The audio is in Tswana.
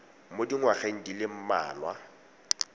mo dingwageng di le mmalwa